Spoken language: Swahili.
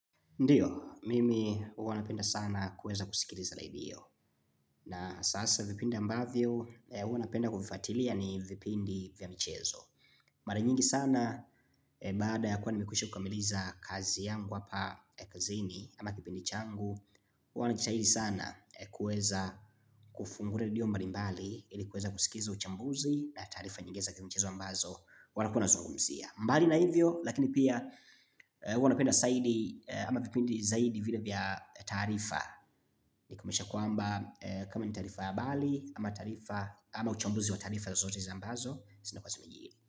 Ndiyo, mimi huwanapenda sana kuweza kusikiliza redio. Na sasa vipindi ambavyo, huwanapenda kuvifuatilia ni vipindi vya michezo. Mara nyingi sana, baada ya kuwa nimekwisha kukamiliza kazi yangu hapa kazini, ama kipindi changu, huwanajitahidi sana kuweza kufunguli redio mbali mbali, ilikuweza kusikiza uchambuzi, na taarifa nyingineza kimchezo ambazo, wanakuawana zungumzia. Mbali na hivyo lakini pia huana penda zaidi ama vipindi zaidi vile vya taarifa Nikumaanisha kwamba kama ni taarifa ya habari ama taarifa ama uchambuzi wa taarifa zozote zambazo zina kua zimejiri.